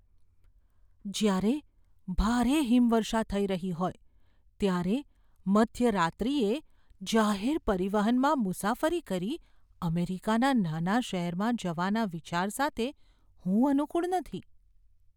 જ્યારે ભારે હિમવર્ષા થઈ રહી હોય ત્યારે મધ્યરાત્રિએ જાહેર પરિવહનમાં મુસાફરી કરી અમેરિકાના નાના શહેરમાં જવાના વિચાર સાથે હું અનુકુળ નથી.